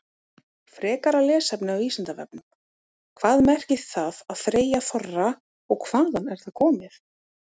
Frekara lesefni á Vísindavefnum: Hvað merkir það að þreyja þorra og hvaðan er það komið?